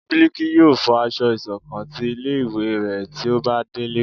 Biliki yóò fọ aṣọ ìṣọ̀kan tí ilé ìwé ré tí ó ba delé